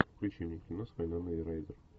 включи мне кино с вайноной райдер